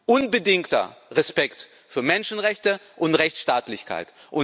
unbedingter Respekt für Menschenrechte und Rechtsstaatlichkeit.